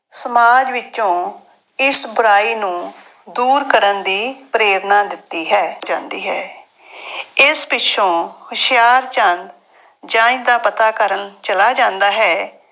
ਸਮਾਜ ਵਿੱਚੋਂ ਇਸ ਬੁਰਾਈ ਨੂੰ ਦੂਰ ਕਰਨ ਦੀ ਪ੍ਰੇਰਨਾ ਦਿੱਤੀ ਹੈ, ਜਾਂਦੀ ਹੈ ਇਸ ਪਿੱਛੋਂ ਹੁਸ਼ਿਆਰਚੰਦ ਜੰਞ ਦਾ ਪਤਾ ਕਰਨ ਚਲਾ ਜਾਂਦਾ ਹੈ।